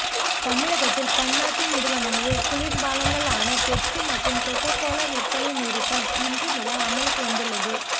தமிழகத்தில் பன்னாட்டு நிறுவனங்களின் குளிர்பானங்களான பெப்ஸி மற்றும் கோகோ கோலா விற்பனை நிறுத்தம் இன்று முதல் அமலுக்கு வந்துள்ளது